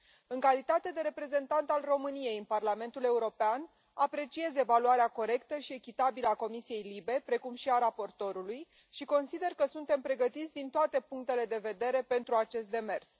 În calitate de reprezentant al României în Parlamentul European, aprecieze evaluarea corectă și echitabilă a Comisiei LIBE, precum și a raportorului și consider că suntem pregătiți din toate punctele de vedere pentru acest demers.